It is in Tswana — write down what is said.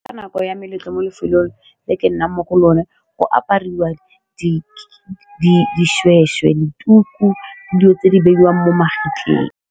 Ka nako ya meletlo mo lefelong le ke nnang mo go lone go apariwa di dishweshwe dituku dilo tse di beiwang mo magetleng.